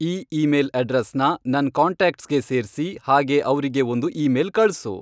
ಈ ಈಮೇಲ್ ಅಡ್ರೆಸ್ನ ನನ್ ಕಾಂಟ್ಯಾಕ್ಟ್ಸ್ಗೆ ಸೇರ್ಸಿ ಹಾಗೇ ಅವ್ರಿಗೆ ಒಂದ್ ಈಮೇಲ್ ಕಳ್ಸು